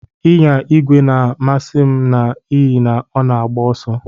Ịnya igwe na-amasị m n'ihi na ọ na-agba ọsọ.